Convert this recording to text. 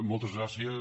moltes gràcies